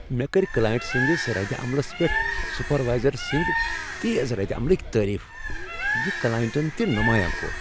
مےٚ کٔرۍ کلاینٛٹ سٕنٛدس ردِ عملس پیٹھ سپروایزر سٕنٛد تیز ردعملٕکۍ تعریف، یہ کلائنٹن تہ نمایاں کوٚر۔